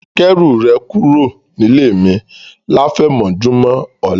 Kẹ́rù rẹ̀ kúrò nílé mi láfẹ̀mọ́júmọ̀ ọ̀la